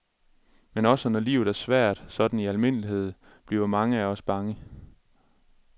Men også når livet er svært sådan i almindelighed, bliver mange af os bange.